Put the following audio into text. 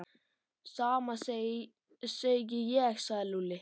Sama segi ég sagði Lúlli.